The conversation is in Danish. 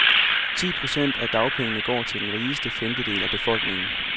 Ti procent af dagpengene går til den rigeste femtedel af befolkningen.